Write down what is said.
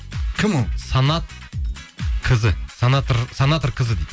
кім ол санатркызы дейді